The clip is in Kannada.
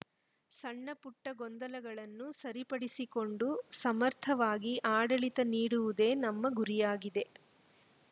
ಸಣ್ಣ ಪುಟ್ಟಗೊಂದಲಗಳನ್ನು ಸರಿಪಡಿಸಿಕೊಂಡು ಸಮರ್ಥವಾಗಿ ಆಡಳಿತ ನೀಡುವುದೇ ನಮ್ಮ ಗುರಿಯಾಗಿದೆ